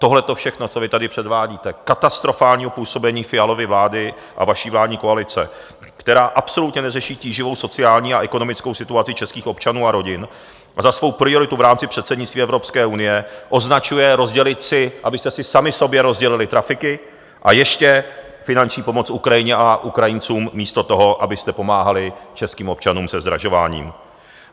Tohleto všechno, co vy tady předvádíte, katastrofálního působení Fialovy vlády a vaší vládní koalice, která absolutně neřeší tíživou sociální a ekonomickou situaci českých občanů a rodin a za svou prioritu v rámci předsednictví Evropské unie označuje rozdělit si, abyste si sami sobě rozdělili trafiky, a ještě finanční pomoc Ukrajině a Ukrajincům místo toho, abyste pomáhali českým občanům se zdražováním.